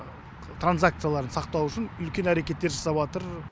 транзакцияларын сақтау үшін үлкен әрекеттер жасап атыр